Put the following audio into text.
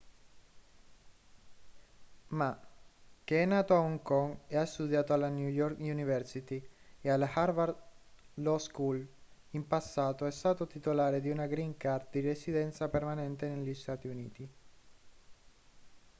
ma che è nato a hong kong e ha studiato alla new york university e alla harvard law school in passato è stato titolare di una green card di residenza permanente negli stati uniti